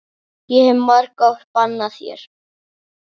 Ég hef margoft bannað þér.